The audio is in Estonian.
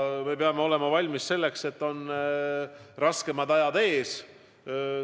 Me peame olema valmis selleks, et ees on raskemad ajad.